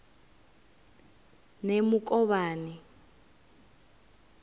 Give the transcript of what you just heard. nemukovhani